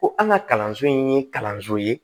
Ko an ka kalanso in ye kalanso ye